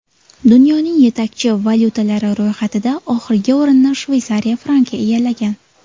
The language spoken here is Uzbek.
Dunyoning yetakchi valyutalari ro‘yxatida oxirgi o‘rinni Shveysariya franki egallagan.